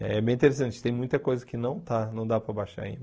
É bem interessante, tem muita coisa que não está, não dá para baixar em